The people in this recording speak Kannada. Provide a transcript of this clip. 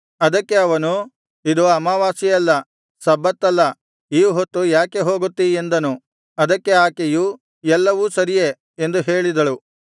ಅದಕ್ಕೆ ಅವನು ಇದು ಅಮಾವಾಸ್ಯೆಯಲ್ಲ ಸಬ್ಬತ್ತಲ್ಲ ಈ ಹೊತ್ತು ಯಾಕೆ ಹೋಗುತ್ತೀ ಎಂದನು ಅದಕ್ಕೆ ಆಕೆಯು ಎಲ್ಲವು ಸರಿಯೇ ಎಂದು ಹೇಳಿದಳು